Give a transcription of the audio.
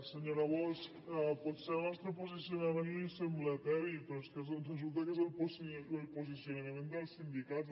senyora bosch potser el nostre posicionament li sembla eteri però és que resulta que és el posicionament dels sindicats